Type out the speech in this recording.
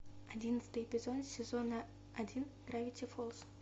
одиннадцатый эпизод сезона один гравити фолз